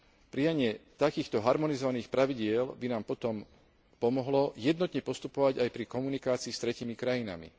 Prijatie takýchto harmonizovaných pravidiel by nám potom pomohlo jednotne postupovať aj pri komunikácii s tretími krajinami.